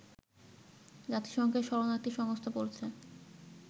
জাতিসংঘের শরণার্থী সংস্থা বলছে